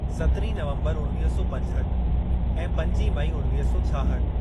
सतरीं नवम्बर उणवीह सौ पंजहठ ऐं पंजी मई उणवीह सौ छाहठ।